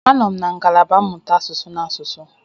Anọ m na ngalaba mmụta asụsụ na asụsụ.